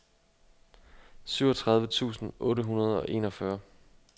syvogtredive tusind otte hundrede og enogfyrre